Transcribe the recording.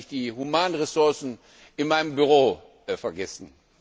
Ich habe nämlich die Humanressourcen in meinem Büro vergessen.